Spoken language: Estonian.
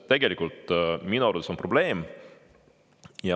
See on minu arvates probleem.